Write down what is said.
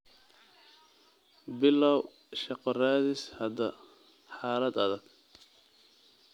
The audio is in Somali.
Bilow shaqo raadis hadda, xaalad adag.